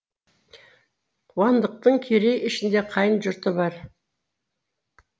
қуандықтың керей ішінде қайын жұрты бар